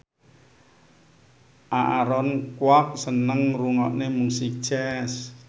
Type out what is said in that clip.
Aaron Kwok seneng ngrungokne musik jazz